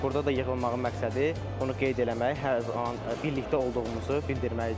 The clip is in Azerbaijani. Burda da yığılmağın məqsədi onu qeyd eləmək, hər zaman birlikdə olduğumuzu bildirməlidir.